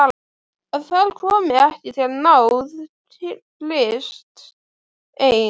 Að þar komi ekki til náð Krists ein.